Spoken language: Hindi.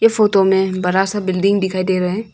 फोटो में बड़ा सा बिल्डिंग दिखाई दे रहा है।